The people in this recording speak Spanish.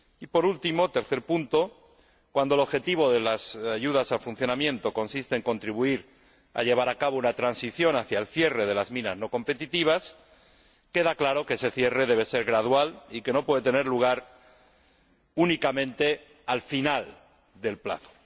Por último, el tercer punto cuando el objetivo de las ayudas a funcionamiento consiste en contribuir a llevar a cabo una transición hacia el cierre de las minas no competitivas, queda claro que ese cierre debe ser gradual y que no puede tener lugar únicamente al final del plazo.